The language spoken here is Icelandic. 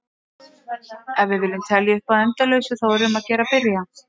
Ef við viljum telja upp að endalausu þá er um að gera að byrja!